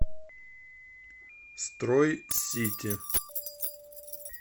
строй сити